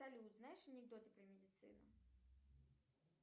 салют знаешь анекдоты про медицину